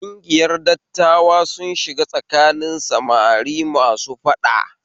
Kungiyar dattawa sun shiga tsakanin samari masu faɗa